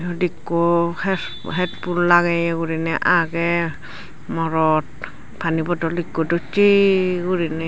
edokko head headphone lageye gurine agey morot pani bodol ekko docche gurine.